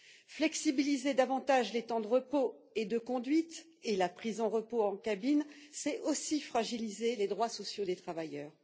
Assouplir davantage les temps de repos et de conduite et la prise de repos en cabine, c'est aussi fragiliser les droits sociaux des travailleurs.